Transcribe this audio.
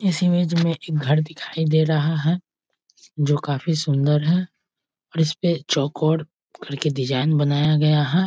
इस इमेज में एक घर दिखाई दे रहा है जो काफी सुंदर है और इस पे चौकोर करके डिजाइन बनाया गया है|